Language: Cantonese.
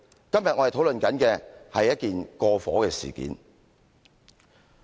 今天我們討論的是一件過火事件。